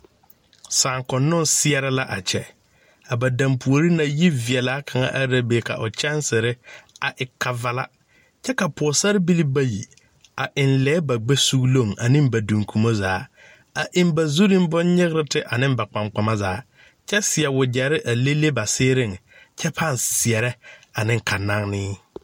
Saakonnɔŋ seɛre la a kyɛ a ba daŋpuori naŋ yiveɛlaa kaŋa are la ka o kyaŋsire a e kavala kyɛ ka pɔgesarebilee bayi a eŋ lɛɛ ba gbɛ sugloŋ ane ba duŋkumo zaa a eŋ ba zuriŋ boŋ nyigrte ane ba kpaŋkpama zaa kyɛ seɛ wagyɛre a lele ba seeriŋ kyɛ paŋ seɛrɛ ane ka naŋnee.